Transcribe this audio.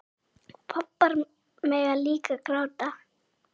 Pabbar mega líka gráta.